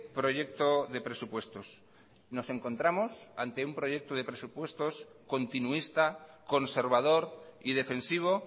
proyecto de presupuestos nos encontramos ante un proyecto de presupuestos continuista conservador y defensivo